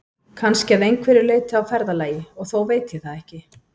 Kannski að einhverju leyti á ferðalagi, og þó veit ég það ekki.